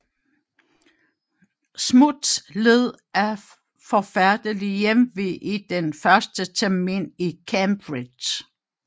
Smuts led af forfærdelig hjemve i den første termin i Cambridge